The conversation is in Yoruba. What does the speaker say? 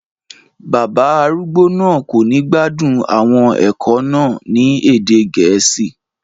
Bàbá arúgbó náà kò ní gbádùn àwọn ẹ̀kọ́ náà ní èdè Gẹ̀ẹ́sì